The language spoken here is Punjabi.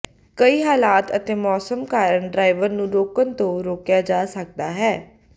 ਕਈ ਹਾਲਾਤ ਅਤੇ ਮੌਸਮ ਕਾਰਨ ਡਰਾਈਵਰ ਨੂੰ ਰੋਕਣ ਤੋਂ ਰੋਕਿਆ ਜਾ ਸਕਦਾ ਹੈ